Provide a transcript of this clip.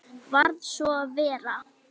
Varð svo að vera.